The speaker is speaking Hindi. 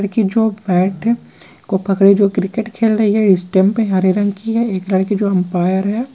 जो की बेट पकड़े क्रिकेट खेल रही है स्टंप हरे रंग की है एक लड़का जो अंपायर है।